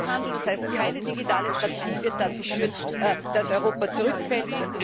Tatenlosigkeit, das heißt keine digitale Strategie, wird dazu führen, dass Europa zurückfällt.